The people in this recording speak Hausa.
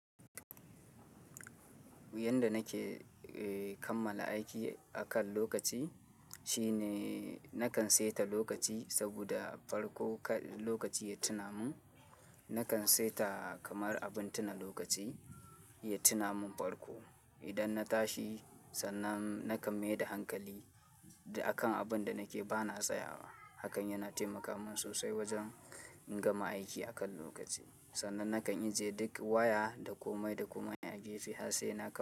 Yanda nake kammala aiki akan lokaci shine nakan saita lokaci saboda farko lokaci ya tuna mun, nakan saita kamar abin tuna lokaci ya tuna mun farko. Idan na tashi sannan nakan mai da hankali akan abin da nake ba na tsayawa. Hakan yana taimaka mun sosai wajen in gama aiki akan lokaci. Sannan nakan ije duk waya da komai da komai a gefe har sai nakan.